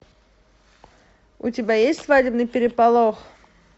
у тебя есть свадебный переполох